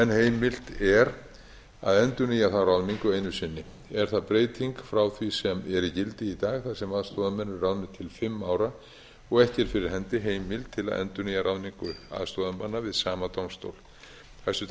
heimilt er að endurnýja þá ráðningu einu sinni er það breyting frá því sem er í gildi í dag þar sem aðstoðarmenn eru ráðnir til fimm ára og ekki er fyrir hendi heimild til að endurnýja ráðningu aðstoðarmanna við sama dómstól hæstvirtur